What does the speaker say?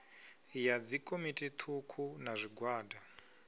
ya dzikomiti thukhu na zwigwada